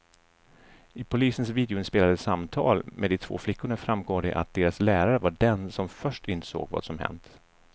I polisens videoinspelade samtal med de två flickorna framgår det att deras lärare var den som först insåg vad som hänt.